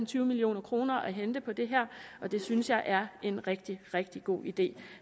tyve million kroner at hente på det her og det synes jeg er en rigtig rigtig god idé